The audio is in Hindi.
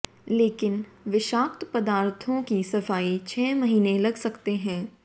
लेकिन विषाक्त पदार्थों की सफाई छह महीने लग सकते हैं